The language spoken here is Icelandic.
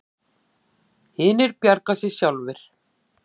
Hinir bjargi sér sjálfir.